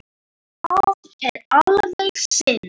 Það er alveg synd